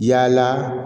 Yala